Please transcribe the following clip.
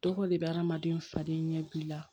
Tɔgɔ de bɛ adamaden falen ɲɛbi la